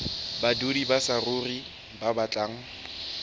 badudi ba saruri ba batlang